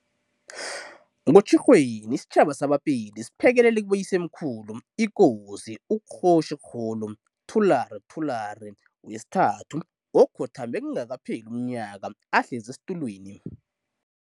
NgoTjhirhweni, isitjhaba sa-Bapedi siphekelele kiboyisemkhulu iKosi u-Kgoshi kgolo Thulare Thulare III, okhothame kungakapheli umnyaka ahlezi esitulweni.